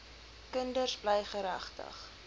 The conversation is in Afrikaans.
kinders bly geregtig